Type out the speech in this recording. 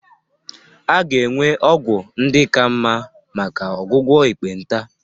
A ga-enwe ọgwụ ndị ka mma maka ọgwụgwọ ekpenta